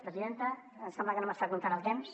presidenta em sembla que no m’està comptant el temps